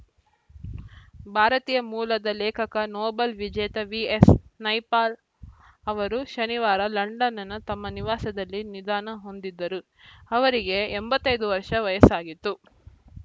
ಭಾರತೀಯ ಮೂಲದ ಲೇಖಕ ನೊಬೆಲ್‌ ವಿಜೇತ ವಿಎಸ್‌ ನೈಪಾಲ್‌ ಅವರು ಶನಿವಾರ ಲಂಡನ್‌ನ ತಮ್ಮ ನಿವಾಸದಲ್ಲಿ ನಿಧನ ಹೊಂದಿದ್ದರು ಅವರಿಗೆ ಎಂಬತ್ತ್ ಐದು ವರ್ಷ ವಯಸ್ಸಾಗಿತ್ತು